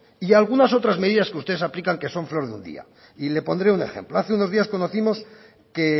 y algunas otras medidas que ustedes aplican que son flores de un día y le pondré un ejemplo hace dos días conocimos que